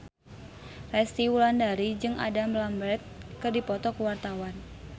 Resty Wulandari jeung Adam Lambert keur dipoto ku wartawan